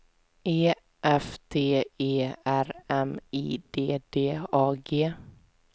E F T E R M I D D A G